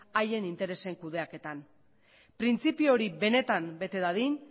haien interesen kudeaketan printzipio hori benetan bete dadin